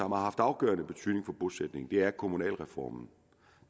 afgørende betydning for bosætningen og det er kommunalreformen